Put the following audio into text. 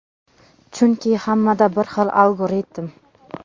Chunki hammada bir xil algoritm.